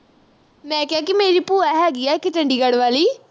ਮੈਂ ਕਿਹਾ ਕੀ ਮੇਰੀ ਭੂਆ ਹੈਗੀ ਆ ਇਕ ਚੰਡੀਗੜ੍ਹ ਵਾਲੀ